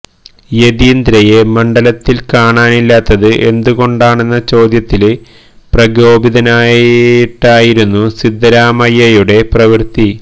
യതീന്ദ്രയെ മണ്ഡലത്തില് കാണാനില്ലാത്തത് എന്ത് കൊണ്ടാണെന്ന ചോദ്യത്തില് പ്രകോപിതനായിട്ടായിരുന്നു സിദ്ധരാമയ്യയുടെ പ്രവൃത്തി